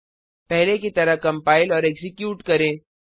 पहले की तरह कंपाइल और एक्जीक्यूट करें